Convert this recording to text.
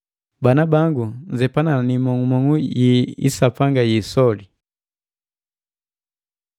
Bana bangu, nzepana ni imong'umong'u yi isapanga yi isoli!